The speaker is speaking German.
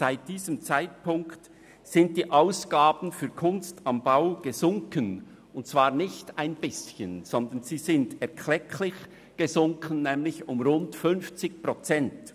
Seit diesem Zeitpunkt sind die Ausgaben für «Kunst am Bau» nicht nur ein bisschen, sondern erklecklich gesunken, nämlich um 50 Prozent.